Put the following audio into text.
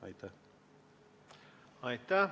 Aitäh!